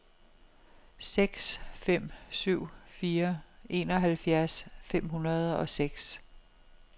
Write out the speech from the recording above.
seks fem syv fire enoghalvfjerds fem hundrede og seks